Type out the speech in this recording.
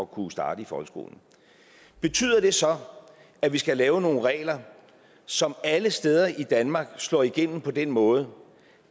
kunne starte i folkeskolen betyder det så at vi skal lave nogle regler som alle steder i danmark slår igennem på den måde